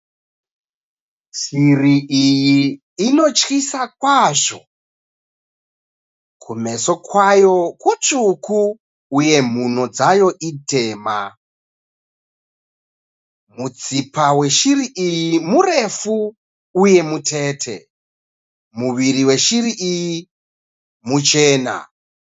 Shiri iyi inotyisa kwazvo. kumeso kwayo kutsvuku uye mhuno dzayo itema. Mutsipa weshiri iyi murefu uye mutete. Muviri weshiri iyi muchena.